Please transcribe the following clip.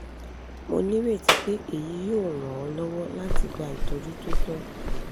mo nireti pe eyi yoo ran ọ lọwọ lati gba itọju to tọ